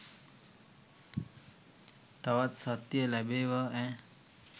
තවත් සත්තිය ලැබේවා ඈ.